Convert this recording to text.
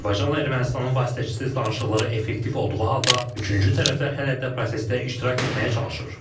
Azərbaycanla Ermənistanın vasitəçisiz danışıqları effektiv olduğu halda üçüncü tərəflər hələ də prosesdə iştirak etməyə çalışır.